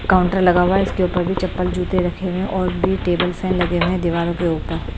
counter लगा हुआ है इसके ऊपर भी चप्पल जूते रखे हुए हैं और भी टेबल फैन लगे हुए हैं दीवारों के ऊपर--